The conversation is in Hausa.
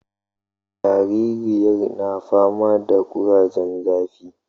Jaririyar na fama da kurajen zafi